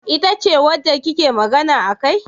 Ita ce wanda kike magana akai?